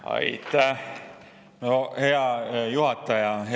Aitäh, hea juhataja!